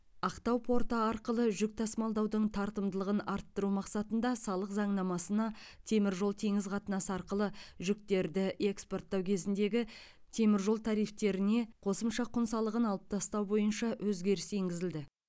ақтау порты арқылы жүк тасымалдаудың тартымдылығын арттыру мақсатында салық заңнамасына темір жол теңіз қатынасы арқылы жүктерді экспорттау кезіндегі темір жол тарифтеріне қосымша құн салығын алып тастау бойынша өзгеріс енгізілді